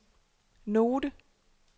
note